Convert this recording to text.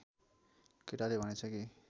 केटाले भनेछ कि